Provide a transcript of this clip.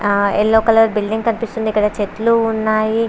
అ yellow colour building కనిపిస్తుంది కదా చెట్లు ఉన్నాయి.